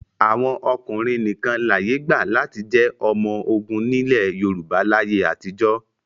Àwọn ọkùnrin nìkan láyé gbà láti jẹ́ ọmọ ogun nílẹ̀ Yorùbá láyé àtijọ́.